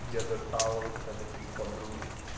я до талого тебя люблю подруга